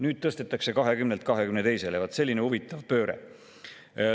Nüüd tõstetakse 20-lt 22-le – vaat, selline huvitav pööre.